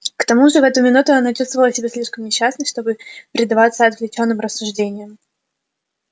к тому же в эту минуту она чувствовала себя слишком несчастной чтобы предаваться отвлечённым рассуждениям